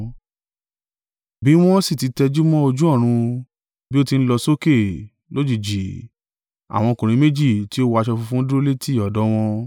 Bí wọ́n sì ti tẹjúmọ́ ojú ọ̀run bí ó ti ń lọ sókè, lójijì, àwọn ọkùnrin méjì tí ó wọ aṣọ funfun dúró létí ọ̀dọ̀ wọn.